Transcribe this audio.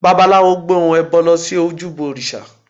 Babaláwo gbé ohun ẹbọ lọ sí ojúbọ òrìṣà